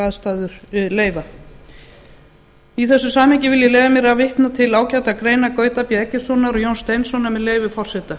aðstæður leyfa í þessu samhengi vil ég leyfa mér að vitna til ágætrar greinar gauta b eggertssonar og jóns steinssonar með leyfi forseta